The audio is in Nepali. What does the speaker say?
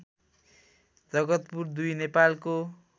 जगतपुर २ नेपालको